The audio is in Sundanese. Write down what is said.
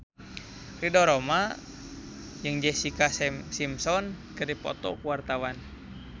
Ridho Roma jeung Jessica Simpson keur dipoto ku wartawan